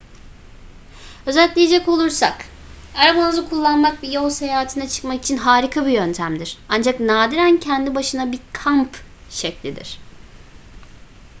özetleyecek olursak arabanızı kullanmak bir yol seyahatine çıkmak için harika bir yöntemdir ancak nadiren kendi başına bir kamp şeklidir